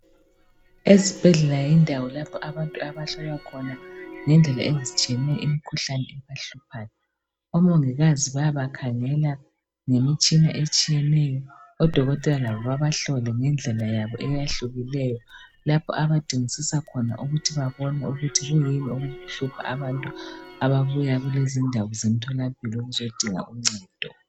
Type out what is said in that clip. Ezibhedlela yindawo lapho abantu abahlolwa khona ngendawo ezitshiyeneyo imikhuhlane ebahluphayo. Omongikazi bayabakhangela ngemitshina etshiyeneyo, odokotela labo babahlole ngendlela yabo eyahlukileyo lapho abadingisisa khona ukuthi babone ukuthi kuyini okuhlupha abantu ababuya kulezindawo zemtholampilo bezodinga uncedo.